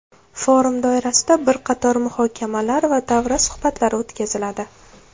Forum doirasida bir qator muhokamalar va davra suhbatlari o‘tkaziladi.